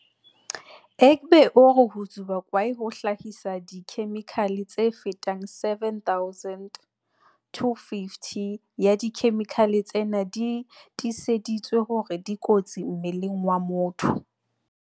Egbe o re ho tsuba kwae ho hlahisa dikhe-mikhale tse fetang 7 000, 250 ya dikhemikhale tsena di tiiseditswe hore dikotsi mmeleng wa motho.